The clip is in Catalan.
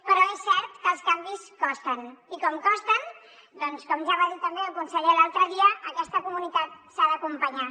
però és cert que els canvis costen i com que costen com ja va dir també el conseller l’altre dia aquesta comunitat s’ha d’acompanyar